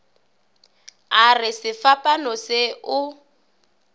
a re sefapano se o